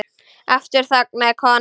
Aftur þagnaði konan.